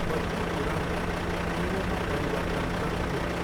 बत्तीको रङलाई पहेँलोमा परिवर्तन गर्नुहोस्